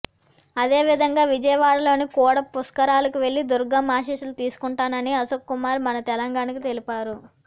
అధేవిధంగా విజయవాడలోని కూడ పుష్కరాలకు వెళ్లి దుర్గమ్మ ఆశీస్సులు తీసుకుంటానని అశోక్కుమార్ మన తెలంగాణకు తెలిపారు